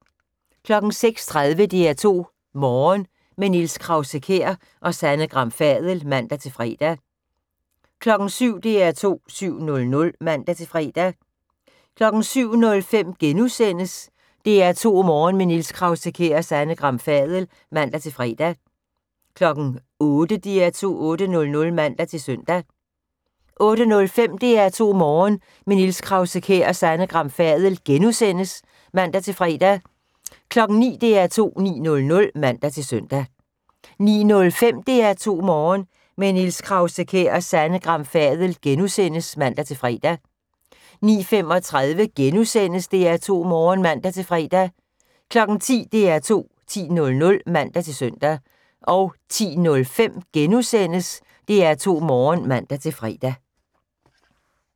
06:30: DR2 Morgen – med Niels Krause-Kjær og Sanne Gram Fadel (man-fre) 07:00: DR2 7:00 (man-fre) 07:05: DR2 Morgen – med Niels Krause-Kjær og Sanne Gram Fadel *(man-fre) 08:00: DR2 8:00 (man-søn) 08:05: DR2 Morgen – med Niels Krause-Kjær og Sanne Gram Fadel *(man-fre) 09:00: DR2 9:00 (man-søn) 09:05: DR2 Morgen – med Niels Krause-Kjær og Sanne Gram Fadel *(man-fre) 09:35: DR2 Morgen *(man-fre) 10:00: DR2 10.00 (man-søn) 10:05: DR2 Morgen *(man-fre)